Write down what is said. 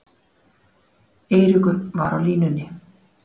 Eiríkur var á línunni.